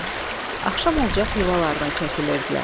Axşam olacaq yuvalarına çəkilirdilər.